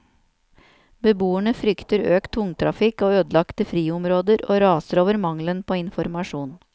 Beboerne frykter økt tungtrafikk og ødelagte friområder, og raser over mangelen på informasjon.